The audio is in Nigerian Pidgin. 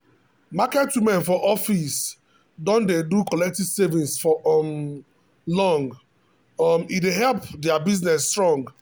market women for africa don dey do collective savings for um long um e dey help their business strong